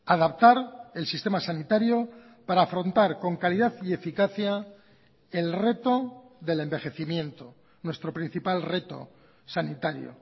adaptar el sistema sanitario para afrontar con calidad y eficacia el reto del envejecimiento nuestro principal reto sanitario